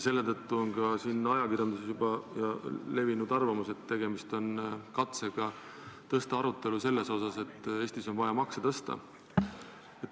Selle tõttu on ajakirjanduses juba levinud arvamus, et tegemist on katsega käivitada arutelu selle üle, et Eestis on vaja makse tõsta.